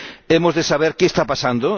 Hemos de saber qué está pasando